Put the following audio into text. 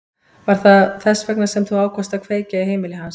Var það þess vegna sem þú ákvaðst að kveikja í heimili hans?